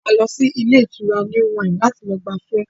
A lọ sí ilé ìtura New Wine láti lọ gbafẹ́